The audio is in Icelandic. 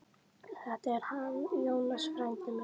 Þetta er hann Jónas, frændi minn.